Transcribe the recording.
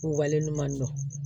K'u wale ɲuman dɔn